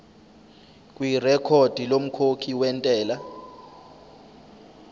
kwirekhodi lomkhokhi wentela